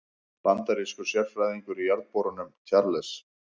Bandarískur sérfræðingur í jarðborunum, Charles